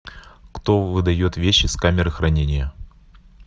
кто выдает вещи с камеры хранения